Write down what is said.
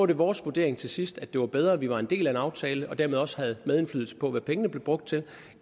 det vores vurdering til sidst at det var bedre at vi var en del af en aftale og dermed også havde medindflydelse på hvad pengene blev brugt til